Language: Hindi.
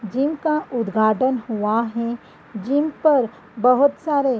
जिम का उद्घाटन हुआ है जिम पर बहुत सारे --